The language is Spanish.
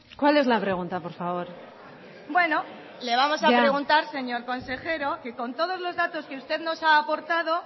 cuál es la pregunta por favor bueno le vamos a preguntar señor consejero que con todos los datos que usted nos ha aportado